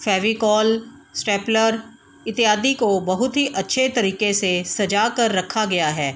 Fevicol stapler इत्यादि को बहुत ही अच्छे तरीके से सजा कर रखा गया है।